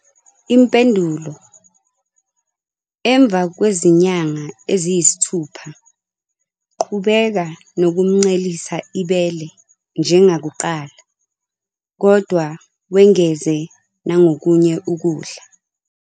Impendulo- Emva kwezinyanga eziyisithupha, qhubeka nokumncelisa ibele njengakuqala, kodwa wengeze nokunye ukudla.